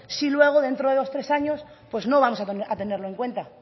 si luego dentro de dos tres años no vamos a tenerlo en cuenta